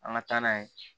An ka taa n'a ye